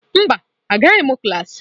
Mba, Agaghị m klas.